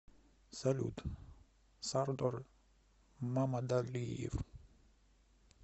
салют сардор мамадалиев